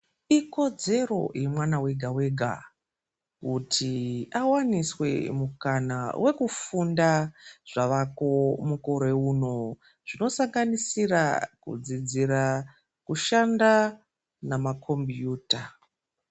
Ikodzero yemwana wega wega kuti awaniswe mukana wekufunda zvavako mukore uno zvinosanganisira kudzidzira kushanda nemakombiyuta.